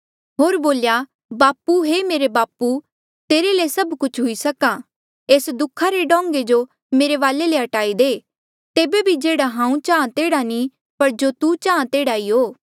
होर बोल्या बापू हे मेरे बाबू तेरे ले सभ कुछ हुई सक्हा एस दुखा रा डोंगें जो मेरे वाले ले हट्टाई दे तेबे भी जेह्ड़ा हांऊँ चाहां तेह्ड़ा नी पर जो तू चाहां तेह्ड़ा ई हो